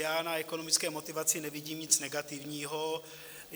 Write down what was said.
Já na ekonomické motivaci nevidím nic negativního.